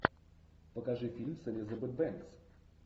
покажи фильм с элизабет бэнкс